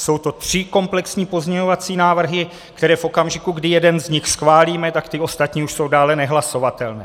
Jsou to tři komplexní pozměňovací návrhy, které v okamžiku, kdy jeden z nich schválíme, tak ty ostatní už jsou dále nehlasovatelné.